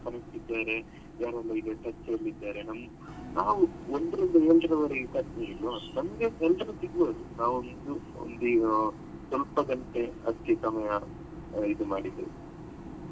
Connect ಇದ್ದಾರೆ ಯಾರೆಲ್ಲ ಈಗ touch ಅಲ್ಲಿ ಇದ್ದಾರೆ ನಮ್ಮ್~ ನಾವು ಒಂದ್ರಿಂದ ಏಳರವರೆಗೆ ನಮ್ಗೆ ಎಲ್ರು ಸಿಗ್ಬೋದು ನಾವು ಒಂದ್ ಒಂದ್ ಈಗ ಸ್ವಲ್ಪ ಗಂಟೆ ಸಮಯ ಇದು ಮಾಡಿದ್ದು.